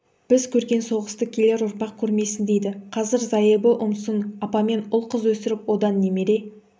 біз көрген соғысты келер ұрпақ көрмесін дейді қазір зайыбы ұмсын апамен ұл-қыз өсіріп одан немере